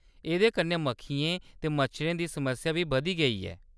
एह्‌‌‌दे कन्नै मक्खियें ते मच्छरें दी समस्या बी बधी गेई ऐ।